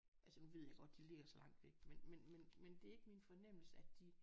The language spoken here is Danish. Altså nu ved jeg godt de ligger så langt væk men men det er ikke min fornemmelse at de